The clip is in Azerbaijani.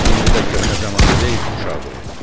İndi də köhnə zəmanə deyil ki, uşaq döyə.